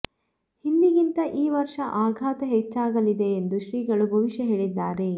ಹಿಂದಿಗಿಂತ ಈ ವರ್ಷ ಆಘಾತ ಹೆಚ್ಚಾಗಲಿದೆ ಎಂದು ಶ್ರೀಗಳು ಭವಿಷ್ಯ ಹೇಳಿದ್ದಾರೆ